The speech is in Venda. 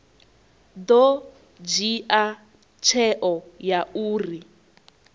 ḓo dzhia tsheo ya uri